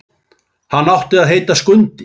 Hann átti að heita Skundi.